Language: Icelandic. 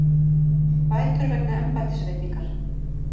Bætur vegna embættisveitingar